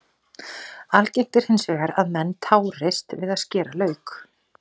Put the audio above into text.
Algengt er hins vegar að menn tárist við að skera lauk.